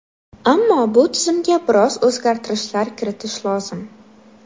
Ammo bu tizimga biroz o‘zgartirishlar kiritish lozim.